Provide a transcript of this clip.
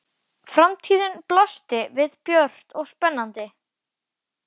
Framtíðin blasti við björt og spennandi.